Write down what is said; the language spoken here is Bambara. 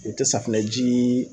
O te safinɛjii